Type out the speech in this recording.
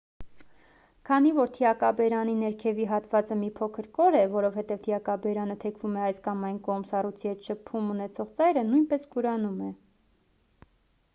քանի որ թիակաբերանի ներքևի հատվածը մի փոքր կոր է որովհետև թիակաբերանը թեքվում է այս կամ այն կողմ սառույցի հետ շփում ունեցող ծայրը նույնպես կորանում է